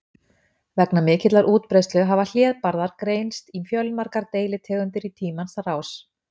Vegna mikillar útbreiðslu hafa hlébarðar greinst í fjölmargar deilitegundir í tímans rás.